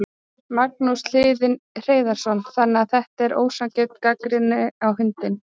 Magnús Hlynur Hreiðarsson: Þannig að þetta er ósanngjörn gagnrýni á hundinn?